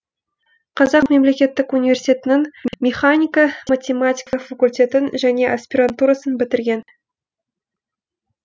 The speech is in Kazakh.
қазақ мемлекеттік университетінің механика математика факультетін және аспирантурасын бітірген